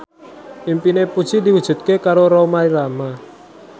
impine Puji diwujudke karo Rhoma Irama